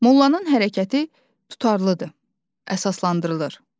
Mollanın hərəkəti tutarlıdır, əsaslandırılır.